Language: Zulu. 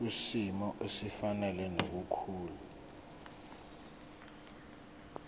kwisimo esifanele nokukhula